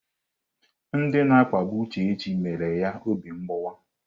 Ndị na-akpagbu Uchechi emela ya obi mgbawa.